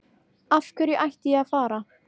Af hverju ætti ég að fara?